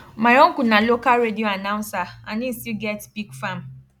my uncle na local radio announcer and he still get pig farm